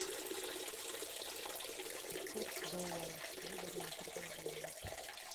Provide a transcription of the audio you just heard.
курс доллара выгодное предложение